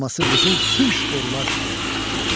Burması qızıl tunç borular çalındı.